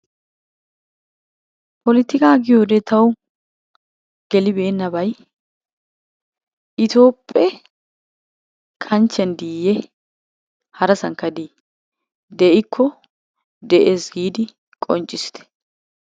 Pollittikka giyode tawu gelibeennabay Etoophphe kanchchiyan diiyye harassankka dii de'ikko de'ees giidi qonccissite.